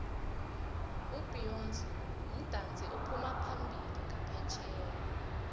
ubeyonce mudatsi ophumaphambili nqaphetjheya